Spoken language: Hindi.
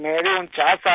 मेरी उनचास साल है